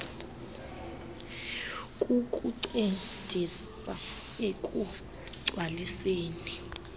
kukuncedisa ekugc waliseni